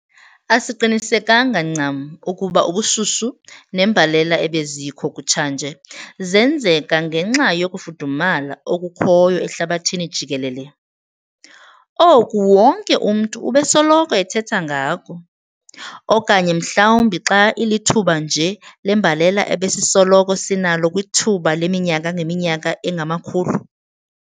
Asiqinisekanga ncam ukuba ubushushu nembalela ebezikho kutshanje zenzeka ngenxa yokufudumala okukhoyo ehlabathini jikelele, oku wonke umntu ubesoloko ethetha ngako, okanye mhlawumbi xa ilithuba nje lembalela ebesisoloko sinalo kwithuba leminyaka ngeminyaka engamakhulu.